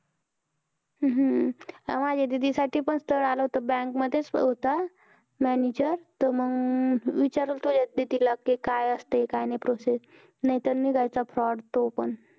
हम्म माझ्या दीदीसाठी पण स्थळ आलं होत bank मधेच होता. manager तर मंग विचारू तुझ्याच दीदीला. कि काय असतंय काय नाही process, नाहीतर निघायचा fraud तो पण.